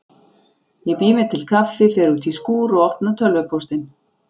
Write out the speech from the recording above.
Ég bý mér til kaffi, fer út í skúr og opna tölvupóstinn.